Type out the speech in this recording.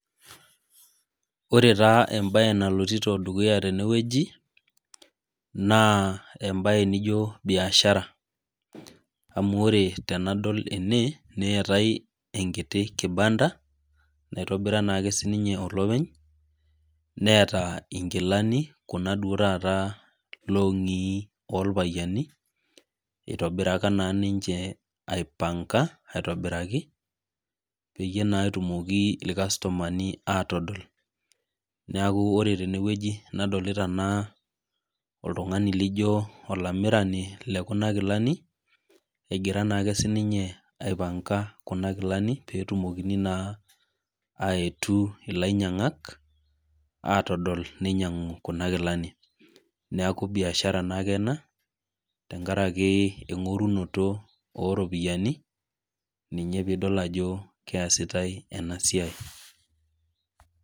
Ore taa ebae nalotito dukuya tenewueji, naa ebae nijo biashara. Amu ore tenadol ene, neetae enkiti kibanda naitobira naake sininye olopeny, neeta inkilani kuna duo taata long'i orpayiani, itobiraka naa ninche aipanka aitobiraki, peyie naa etumoki irkastomani atodol. Neeku ore tenewueji nadolita ana oltung'ani lijo olamirani lekuna kilani, egira naake sininye aipanka kuna kilani, petumokini naa aetu ilainyang'ak, atodol ninyang'u kuna kilani. Neeku biashara naake ena, tenkaraki eng'orunoto oropiyiani, ninye pidol ajo keesitai enasiai.